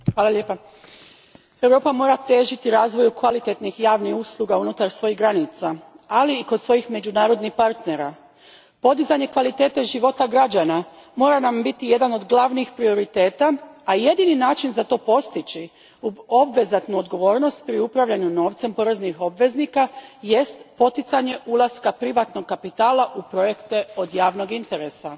Gospođo predsjednice, Europa mora težiti razvoju kvalitetnih javnih usluga unutar svojih granica, ali i kod svojih međunarodnih partnera. Podizanje kvalitete života građana mora nam biti jedan od glavnih prioriteta, a jedini način da se to postigne, uz obaveznu odgovornost pri upravljanju novcem poreznih obveznika, jest poticanje ulaska privatnog kapitala u projekte od javnog interesa.